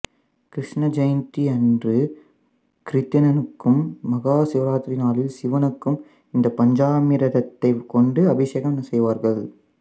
கிருஷ்ண ஜெயந்தி அன்று கிருட்டிணனுக்கும் மகா சிவராத்திரி நாளில் சிவனுக்கும் இந்த பஞ்சாமிர்தத்தைக் கொண்டு அபிசேகம் செய்வார்கள்